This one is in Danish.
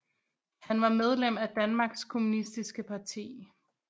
Han var medlem af Danmarks Kommunistiske Parti